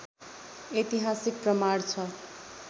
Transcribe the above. ऐतिहासिक प्रमाण छ